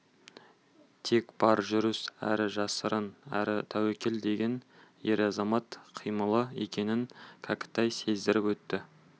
тек бар жүріс әрі жасырын әрі тәуекел деген ер-азамат қимылы екенін кәкітай сездіріп өтті